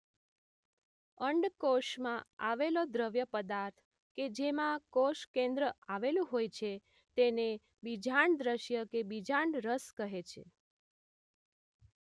અંડ કોષમાં આવેલો દ્રવ્ય પદાર્થ કે જેમાં કોષ કેંદ્ર આવેલું હોય છે તેને બીજાંડ દ્રવ્ય કે બીજાંડ રસ કહે છે